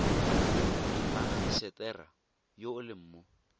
mmagisetera yo o leng mo